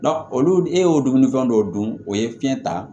olu e y'o dumunifɛn dɔw dun o ye fiɲɛ ta